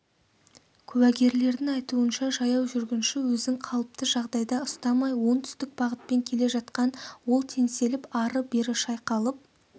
куәгерлердің айтуынша жаяу жүргінші өзін қалыпты жағдайда ұстамай оңтүстік бағытпен келе жатқан ол теңселіп ары-бері шайқалып